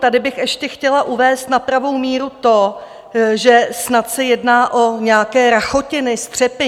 Tady bych ještě chtěla uvést na pravou míru to, že snad se jedná o nějaké rachotiny, střepy.